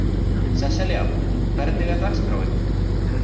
Sesselja, hvernig er dagskráin?